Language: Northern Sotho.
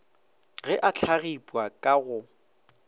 ge a hlagipwa ka go